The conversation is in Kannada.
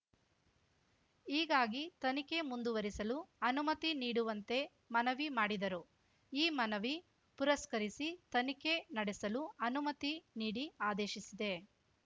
ಹೀಗಾಗಿ ತನಿಖೆ ಮುಂದುವರಿಸಲು ಅನುಮತಿ ನೀಡುವಂತೆ ಮನವಿ ಮಾಡಿದರು ಈ ಮನವಿ ಪುರಸ್ಕರಿಸಿ ತನಿಖೆ ನಡೆಸಲು ಅನುಮತಿ ನೀಡಿ ಆದೇಶಿಸಿದೆ